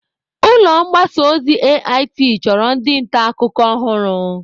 Ulọ mgbasa ozi AIT chọrọ ndị nta akụkọ ọhụrụ.